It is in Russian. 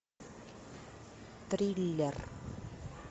триллер